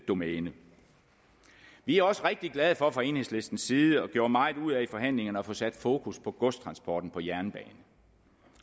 domæne vi er også rigtig glade for fra enhedslistens side hvilket vi gjorde meget ud af i forhandlingerne at få sat fokus på godstransporten på jernbane